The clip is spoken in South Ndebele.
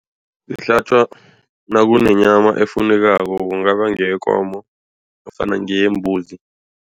Ihlatjwa nakunenyama efunekako kungaba ngeyekomo nofana ngeyembuzi.